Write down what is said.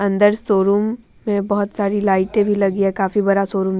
अंदर शोरूम में बहुत सारी लाइटें भी लगी हैं। काफी बड़ा शोरूम --